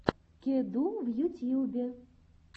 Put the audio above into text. кеду в ютьюбе